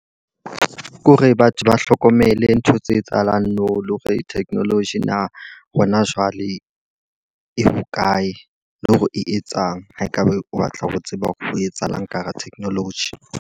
Ke hore batho ba hlokomele ntho tse etsahalang nou. Le hore technology na hona jwale e hokae, le hore e etsang. Ha e ka ba o batla ho tseba hore ho etsahalang ka hara technology.